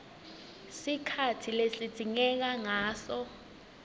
sikhatsi lesidzingeka ngaso